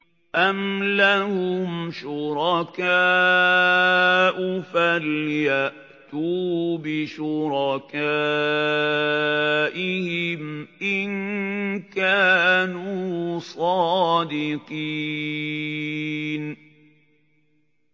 أَمْ لَهُمْ شُرَكَاءُ فَلْيَأْتُوا بِشُرَكَائِهِمْ إِن كَانُوا صَادِقِينَ